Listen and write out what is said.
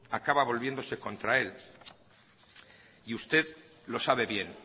acaba volviéndose contra él y usted lo sabe bien